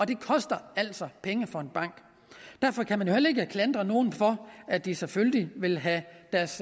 det koster altså penge for en bank derfor kan man jo heller ikke klandre nogen for at de selvfølgelig vil have deres